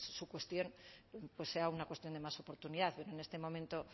su cuestión sea una cuestión de más oportunidad es decir en este momento